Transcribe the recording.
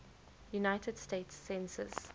united states census